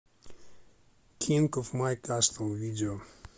кинг оф май кастл видео